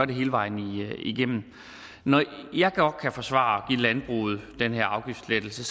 det hele vejen igennem når jeg godt kan forsvare at give landbruget den her afgiftslettelse